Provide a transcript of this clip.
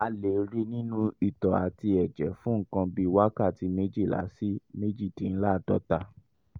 a lè rí i nínú itọ́ àti ẹ̀jẹ̀ fún nǹkan bí wákàtí méjìlá sí méjìdínláàádọ́ta